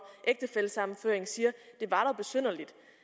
ægtefællesammenføring siger